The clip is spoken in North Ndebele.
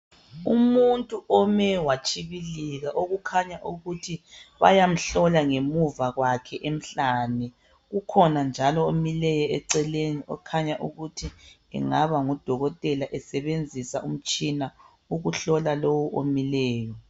Umuntu ome watshibilika okukhanya ukuthi bayamhlola ngemuva kwakhe emhlane kukhona njalo omileyo eceleni ukhangele ukuthi kungaba ngudokotela esebenzisa umtshina ukuhlola lowu omileyo